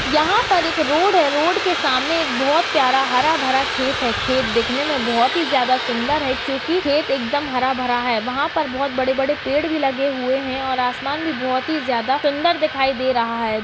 यहाँ पर एक रोड है रोड के सामने एक बहोत प्यारा हरा भरा खेत है खेत दिखने में बहोत ही ज्यादा सुंदर है क्योंकि खेत एकदम हरा भरा है वहाँ पर बहोत बड़े बड़े पेड़ भी लगे हुए हैं और आसमान भी बहोत ही ज्यादा सुंदर दिखाई दे रहा है।